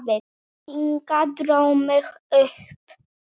Inga dró mig upp.